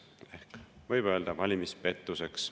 Ehk võib öelda, valimispettuseks.